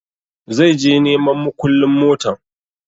Zai je neman mukullun motan